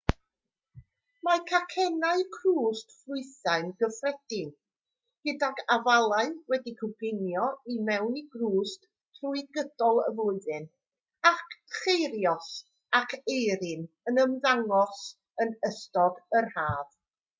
mae cacennau crwst ffrwythau'n gyffredin gydag afalau wedi'u coginio i mewn i grwst trwy gydol y flwyddyn a cheirios ac eirin yn ymddangos yn ystod yr haf